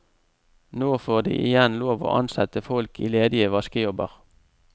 Nå får de igjen lov å ansette folk i ledige vaskejobber.